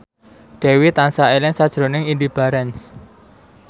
Dewi tansah eling sakjroning Indy Barens